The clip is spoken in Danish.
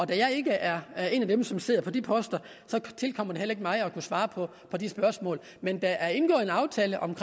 da jeg ikke er er en af dem som sidder på de poster tilkommer det heller ikke mig at svare på de spørgsmål men der er indgået en aftale om